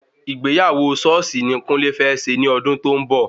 Ìgbéyàwó sọ́ọ̀sì ni kúnlé fẹ́ ṣe ní ọdún tó ń bọ̀